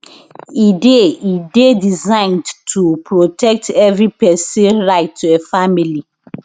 e dey e dey designed to protect evri pesin right to a family life